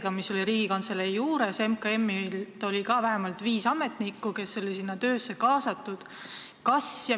Vähemalt viis MKM-i ametnikku olid sellesse töösse kaasatud.